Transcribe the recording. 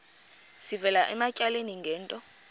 sivela ematyaleni ngento